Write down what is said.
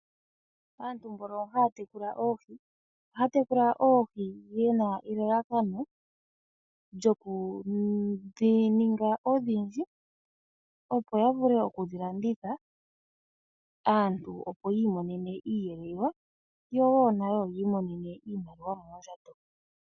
Aantu mbono haya tekula oohi ohaya tekula oohi yena elalakano lyokudhininga odhindji opo yavule oku dhilanditha aantu opo yi imonene iiyelelwa nayo woo yi imonene iimaliwa moondjato .